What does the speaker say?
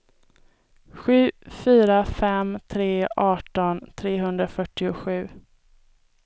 sju fyra fem tre arton trehundrafyrtiosju